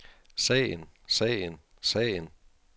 sagen sagen sagen